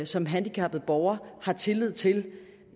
som handicappet borger har tillid til